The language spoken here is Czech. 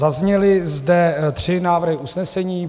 Zazněly zde tři návrhy usnesení.